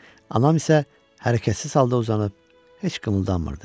Anam isə hərəkətsiz halda uzanıb, heç qımıldanmırdı.